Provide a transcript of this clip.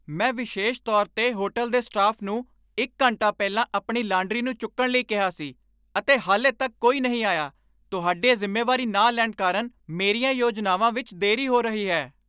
ਮੈਂ ਵਿਸ਼ੇਸ਼ ਤੌਰ 'ਤੇ ਹੋਟਲ ਦੇ ਸਟਾਫ ਨੂੰ ਇੱਕ ਘੰਟਾ ਪਹਿਲਾਂ ਆਪਣੀ ਲਾਂਡਰੀ ਨੂੰ ਚੁੱਕਣ ਲਈ ਕਿਹਾ ਸੀ, ਅਤੇ ਹਾਲੇ ਤੱਕ ਕੋਈ ਨਹੀਂ ਆਇਆ। ਤੁਹਾਡੇ ਜ਼ਿੰਮੇਵਾਰੀ ਨਾ ਲੈਣ ਕਾਰਨ ਮੇਰੀਆਂ ਯੋਜਨਾਵਾਂ ਵਿੱਚ ਦੇਰੀ ਹੋ ਰਹੀ ਹੈ!